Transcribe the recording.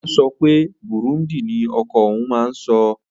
Ó ó sopé bùrúndì nii oko ohun n má n so.